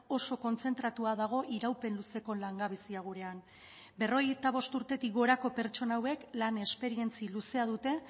oso kontzentratua dago iraupen luzeko langabezia gurean berrogeita bost urtetik gorako pertsona hauek lan esperientzia luzea dute